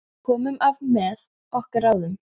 Við komumst af með okkar ráðum.